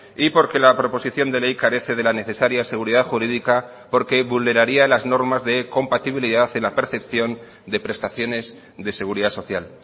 y porque la proposición de ley carece de la necesaria seguridad jurídica porque vulneraria las normas de compatibilidad en la percepción de prestaciones de seguridad social